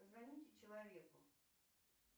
позвоните человеку